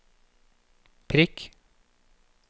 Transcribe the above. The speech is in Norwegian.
prikk